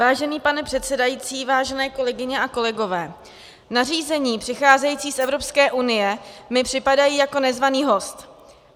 Vážený pane předsedající, vážené kolegyně a kolegové, nařízení přicházející z Evropské unie mi připadají jako nezvaný host.